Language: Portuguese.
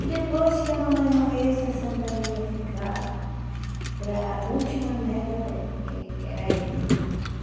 E depois que a mamãe morresse, a Santa Ana ia ficar para a última neta dela, que era eu, né?